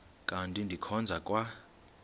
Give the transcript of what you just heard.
kanti ndikhonza kwa